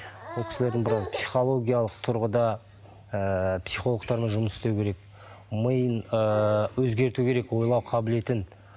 бұл кісілердің біраз психологиялық тұрғыда ыыы психологтармен жұмыс істеу керек миын ыыы өзгерту керек ойлау қабілетін